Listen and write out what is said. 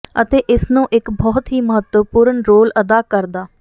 ਅਤੇ ਇਸ ਨੂੰ ਇੱਕ ਬਹੁਤ ਹੀ ਮਹੱਤਵਪੂਰਨ ਰੋਲ ਅਦਾ ਕਰਦਾ